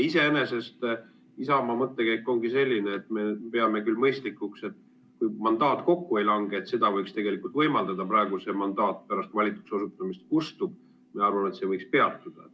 Iseenesest Isamaa mõttekäik ongi selline, et me peame mõistlikuks, et kui mandaat kokku ei lange, siis võiks tegelikult võimaldada seda, et kui praegu see mandaat pärast valituks osutumist kustub, siis meie arvame, et see võiks peatuda.